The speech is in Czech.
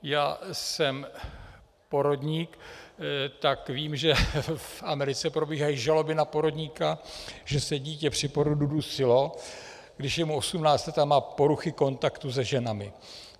Já jsem porodník, tak vím, že v Americe probíhají žaloby na porodníka, že se dítě při porodu dusilo, když je mu 18 let a má poruchy kontaktu se ženami.